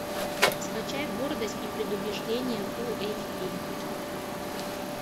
скачай гордость и предубеждение фул эйч ди